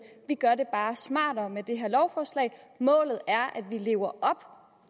vi gør det bare smartere med det her lovforslag målet er at vi lever op